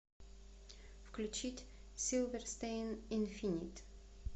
включить силверстейн инфинит